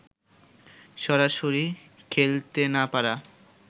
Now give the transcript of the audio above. সরাসরি খেলতে না পারা